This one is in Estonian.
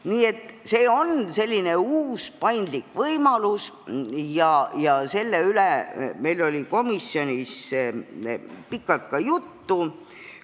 Nii et see on uus paindlik võimalus ja sellest oli meil komisjonis pikalt juttu.